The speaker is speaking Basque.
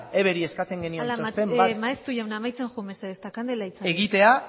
eberi eskatzen genion txosten bat egitea ala maeztu jauna amaitzen joan mesedez eta kandela itzali ez